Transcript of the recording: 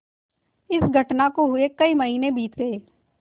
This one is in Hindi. इस घटना को हुए कई महीने बीत गये